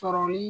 Sɔrɔli